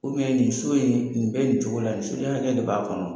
nin so in nin bɛ nin cogo la nin soden hakɛ de b'a kɔnɔ.